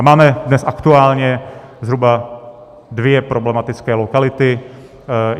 A máme dnes aktuálně zhruba dvě problematické lokality.